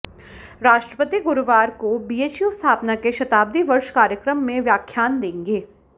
राष्ट्रपति गुरुवार को बीएचयू स्थापना के शताब्दी वर्ष कार्यक्रम में व्याख्यान देंगे